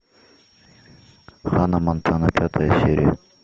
ханна монтана пятая серия